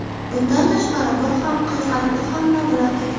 Bundan tashqari, bir haqiqatni hamma bilar edi.